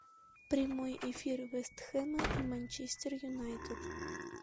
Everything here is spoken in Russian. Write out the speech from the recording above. прямой эфир вест хэма и манчестер юнайтед